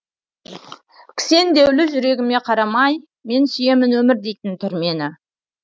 кісендеулі жүрегіме қарамай мен сүйемін өмір дейтін түрмені